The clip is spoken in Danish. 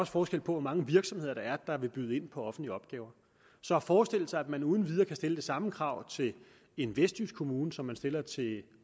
forskel på hvor mange virksomheder der er der vil byde ind på offentlige opgaver så at forestille sig at man uden videre kan stille det samme krav til en vestjysk kommune som man stiller til